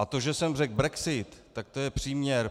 A to, že jsem řekl brexit, tak to je příměr.